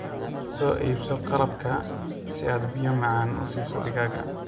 Soo iibso qalabka si aad biyo macaan u siiso digaagga.